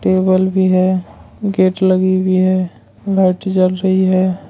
Table भी है gate लगी हुई है लाइट जल रही है।